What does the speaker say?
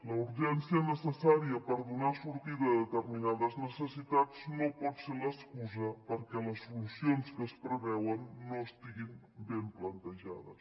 la urgència necessària per donar sortida a determinades necessitats no pot ser l’excusa perquè les solucions que es preveuen no estiguin ben plantejades